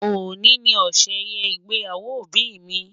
Ọ̀ní ni ọ̀ṣẹ̀yẹ ịgbẹ́yàwò ọbì mi.